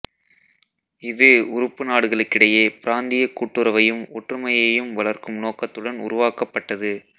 இது உறுப்பு நாடுகளிடையே பிராந்திய கூட்டுறவையும் ஒற்றுமையையும் வளர்க்கும் நோக்கத்துடன் உருவாக்கப்பட்டது